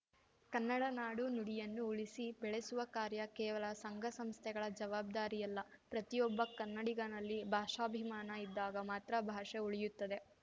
ಕನ್ನಡ ನಾಡು ನುಡಿಯನ್ನು ಉಳಿಸಿ ಬೆಳೆಸುವ ಕಾರ್ಯ ಕೇವಲ ಸಂಘಸಂಸ್ಥೆಗಳ ಜವಾಬ್ದಾರಿಯಲ್ಲ ಪ್ರತಿಯೊಬ್ಬ ಕನ್ನಡಿಗನಲ್ಲಿ ಭಾಷಾಭಿಮಾನ ಇದ್ದಾಗ ಮಾತ್ರ ಭಾಷೆ ಉಳಿಯುತ್ತದೆ